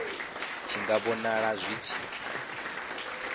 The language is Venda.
tshi nga vhonala zwi tshi